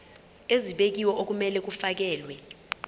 ezibekiwe okumele kufakelwe